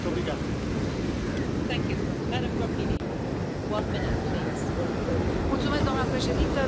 Doamna președintă, domnule comisar, doamna ministru, sigur, vorbim de ce s a întâmplat la Salzburg.